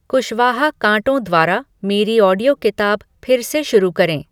कुशवाहा कांटो द्वारा मेरी ऑडियो किताब फिर से शुरू करें